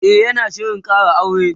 e yana Shirin Kara aure